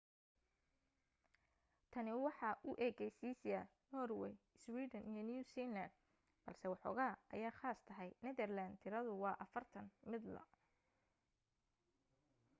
tani waxaa u ekaysiisya norway, iswiidhan iyo new zealand balse woxogaa aya khaas tahay netherland tiradu waa afartan midla